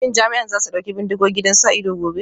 Shin jami'an za su ɗauki bindigogi don sa ido gobe?